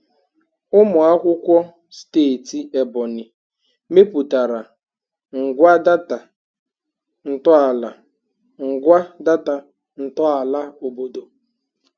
Ụmụ akwụkwọ steeti Ebonyi mepụtara ngwa data ntọala ngwa data ntọala obodo.